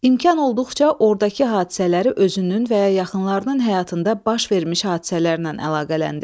İmkan olduqca ordakı hadisələri özünün və ya yaxınlarının həyatında baş vermiş hadisələrlə əlaqələndir.